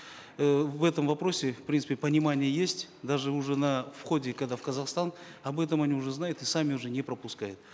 э в этом вопросе в принципе понимание есть даже уже на входе когда в казахстан об этом они уже знают и сами уже не пропускают